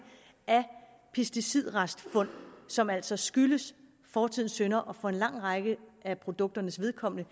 af pesticidrestfund som altså skyldes fortidens synder og for en lang række af produkternes vedkommende